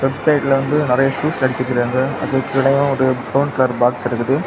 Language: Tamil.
லெஃப்ட் சைடுல வந்து நெறயா ஷுஸ் அடுக்கி வச்சுருக்காங்க அதுக்கு கீழ ஒரு பிரவுன் கலர் பாக்ஸ் இருக்குது.